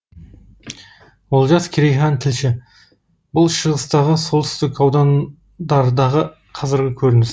олжас керейхан тілші бұл шығыстағы солтүстік аудандардағы қазіргі көрініс